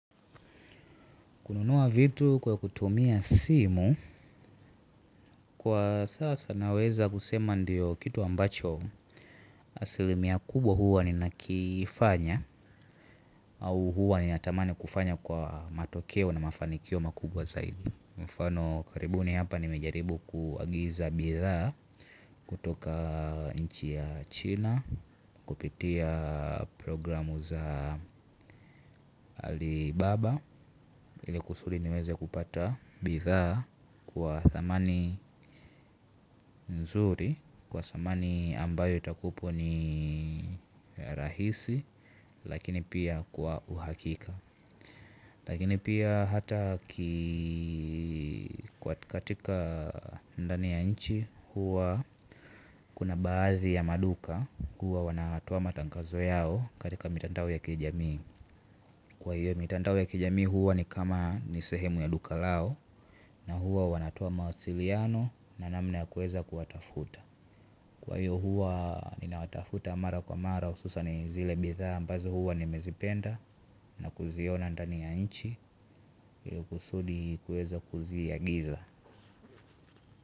Kununua vitu kwa kutumia simu. Kwa sasa naweza kusema ndiyo kitu ambacho asilimia kubwa huwa ninakifanya. Au huwa ninatamani kufanya kwa matokeo na mafanikio makubwa zaidi. Mufano karibuni hapa nimejaribu kuagiza bidhaa. Kutoka nchi ya china. Kupitia programu za alibaba ili kusudi niweze kupata bidhaa kwa thamani nzuri. Kwa thamani ambayo itakupo ni rahisi. Lakini pia kwa uhakika. Lakini pia hata katika ndani ya nchi. Huwa kuna baadhi ya maduka. Huwa wanatoa matangazo yao katika mitandao ya kijamii. Kwa hiyo mitandao ya kijamii huwa ni kama ni sehemu ya duka lao. Na huwa wanatoa mawasiliano na namna ya kueza kuwatafuta. Kwa hiyo huwa nina watafuta mara kwa mara hususan zile bidhaa ambazo huwa nimezipenda na kuziona ndani ya nchi ili kusudi kuweza kuziagiza.